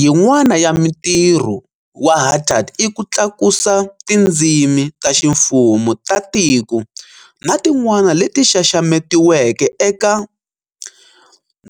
Yin'wana ya mitirho wa HATAD i ku tlakusa tindzimi ta ximfumo ta tiko na tin'wana leti xaxametiweke eka